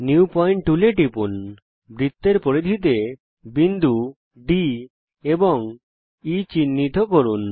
new point টুলে টিপুন বৃত্তের পরিধিতে বিন্দু D এবং E চিহ্নিত করুন